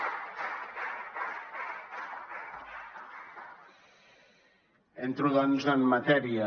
entro doncs en matèria